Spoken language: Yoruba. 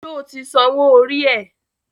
Sọ ti sanwó orí ẹ̀?